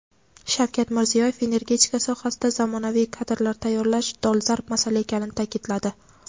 Shavkat Mirziyoyev energetika sohasida zamonaviy kadrlar tayyorlash dolzarb masala ekanini taʼkidladi.